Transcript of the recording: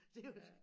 Det var sgu